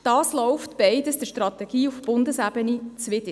Beides läuft der Strategie auf Bundesebene zuwider.